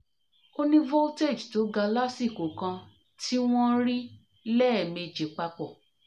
o ni voltage to ga lasiko kan ti won ri leemeji papo